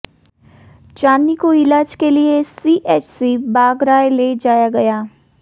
चांदनी को इलाज के लिए सीएचसी बाघराय ले जाया गया